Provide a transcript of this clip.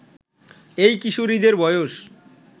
এই কিশোরীদের বয়স